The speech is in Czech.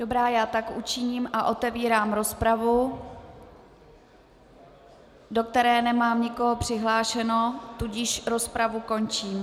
Dobrá, já tak učiním a otevírám rozpravu, do které nemám nikoho přihlášeno, tudíž rozpravu končím.